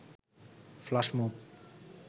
flash move